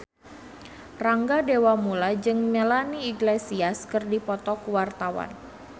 Rangga Dewamoela jeung Melanie Iglesias keur dipoto ku wartawan